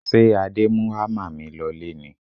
Ṣé Adé mú hámà mi lọlé ni?